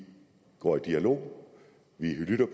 går i dialog vi lytter